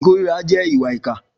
Ikórirà jè ìwà ìkà